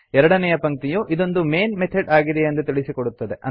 ಎರಡನೇಯ ಪಂಕ್ತಿಯು ಇದೊಂದು ಮೈನ್ ಮೆಥಾಡ್ ಆಗಿದೆಯೆಂದು ತಿಳಿಸುತ್ತದೆ